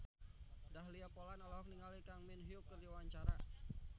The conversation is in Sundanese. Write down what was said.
Dahlia Poland olohok ningali Kang Min Hyuk keur diwawancara